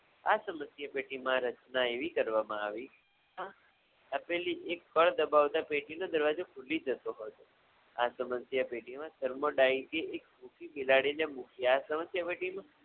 આ સ્મધ્યપેઢીમા રચના એવી કરવામા આવી આપેલી એક કળ દબાવતા પેઢી નો દરવાજો ખુલી જતો હોય છે આ સ્મધ્ય પેઢીમા બિલાડીને